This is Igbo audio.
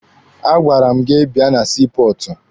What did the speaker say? A gwara m gị bịa na sii pọọtụ!